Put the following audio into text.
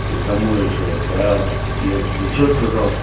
я домой ещё отправил я тебе что сказал